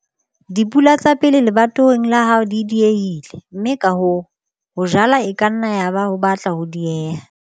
Dipula tsa pele lebatoweng la hao di diehile, mme ka hoo, ho jala e ka nna yaba ho batla ho diehile.